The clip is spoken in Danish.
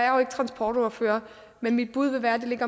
jo ikke transportordfører men mit bud vil være at